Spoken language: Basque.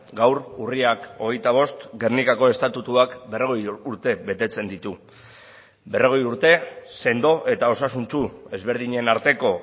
gaur urriak hogeita bost gernikako estatutuak berrogei urte betetzen ditu berrogei urte sendo eta osasuntsu ezberdinen arteko